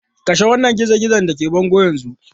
Kashe wannan gizo-gizon da ke bango yanzu!